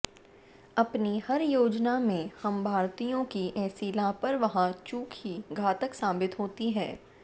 अपनी हर योजना में हम भारतीयों की ऐसी लापरवाह चूक ही घातक साबित होती है